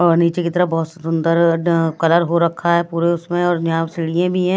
और नीचे की तरफ बहुत सुंदर कलर हो रखा है पूरे उसमें और यहाँ सीढ़ीयें भी है।